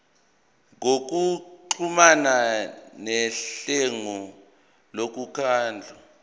ngokuxhumana nelungu lomkhandlu